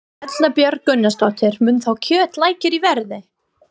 Erla Björg Gunnarsdóttir: Mun þá kjöt lækka í verði?